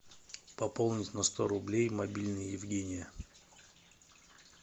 пополнить на сто рублей мобильный евгения